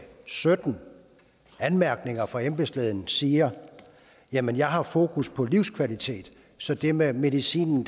sytten anmærkninger fra embedslægen i siger jamen jeg har fokus på livskvalitet så det med medicinen